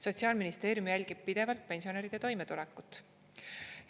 Sotsiaalministeerium jälgib pidevalt pensionäride toimetulekut.